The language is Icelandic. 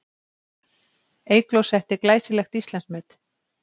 Eygló setti glæsilegt Íslandsmet